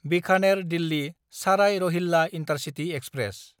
बिखानेर–दिल्ली साराय Rohilla intercity express